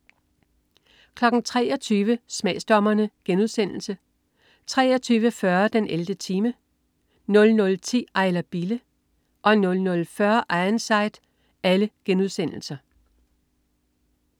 23.00 Smagsdommerne* 23.40 den 11. time* 00.10 Ejler Bille 00.40 Ironside*